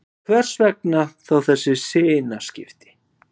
Hvers vegna þá þessi sinnaskipti?